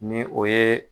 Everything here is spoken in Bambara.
Ni o ye